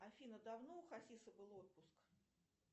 афина давно у хафиза был отпуск